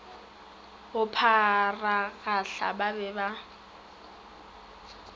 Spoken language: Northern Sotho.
go pharagahla ba be ba